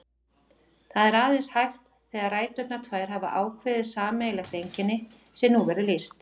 Það er aðeins hægt þegar ræturnar tvær hafa ákveðið sameiginlegt einkenni, sem nú verður lýst.